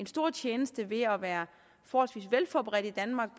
stor tjeneste ved at være forholdsvis velforberedte i danmark